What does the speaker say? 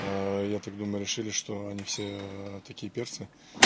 я так думаю решили что они все такие перцы